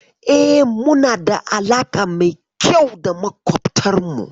E, muna da alaƙa mai kyau da makwabtanmu.